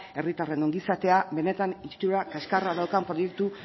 herritarren ongizatea benetan itsura kaxkarra daukan proiektu